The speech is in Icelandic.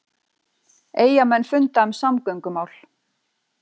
Eyjamenn funda um samgöngumál